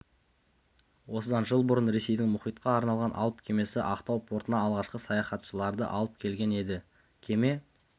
осыдан жыл бұрын ресейдің мұхитқа арналған алып кемесі ақтау портына алғашқы саяхаттаушыларды алып келген еді кеме